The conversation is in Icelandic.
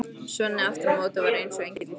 Svenni aftur á móti var eins og engill í framan.